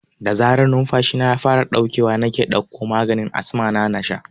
Da zarar numfashina ya fara ɗaukewa nake ɗakko maganin asma ta in sha